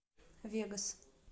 вегас